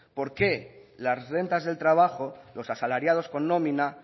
por qué las rentas del trabajo los asalariados con nómina